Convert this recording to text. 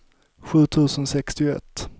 sju tusen sextioett